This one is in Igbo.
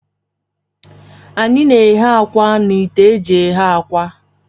Anyị na-eghe akwa na ite eji eghe akwa.